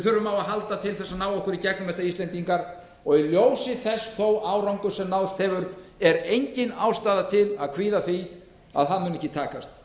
þurfum á að halda til að ná okkur í gegnum þetta í ljósi þó þess árangurs sem náðst hefur er engin ástæða til að kvíða því að það muni ekki takast